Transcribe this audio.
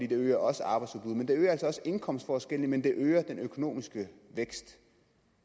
det øger også arbejdsudbuddet det øger altså også indkomstforskellene men det øger den økonomiske vækst